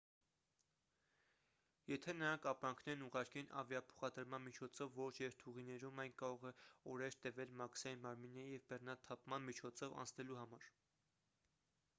եթե նրանք ապրանքներն ուղարկեն ավիափոխադրման միջոցով որոշ երթուղիներում այն կարող է օրեր տևել մաքսային մարմինների և բեռնաթափման միջոցով անցնելու համար